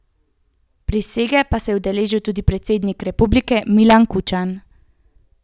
Prisege pa se je udeležil tudi predsednik republike Milan Kučan.